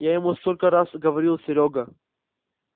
я ему столько раз говорил серёга